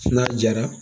N'a jara